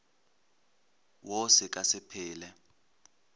wo se ka se phele